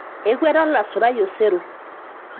ekueta olasurai osero